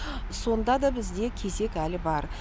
сонда да бізде кезек әлі бар